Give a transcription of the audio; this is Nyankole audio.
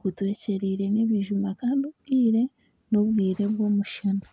gutwekyeriire ebijuma kandi obwire n'obwire n'obwire bw'omushana